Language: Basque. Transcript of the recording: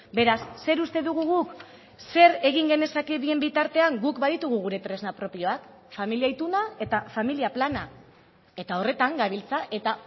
beraz zer uste dugu guk zer egin genezake bien bitartean guk baditugu gure tresna propioak familia ituna eta familia plana eta horretan gabiltza eta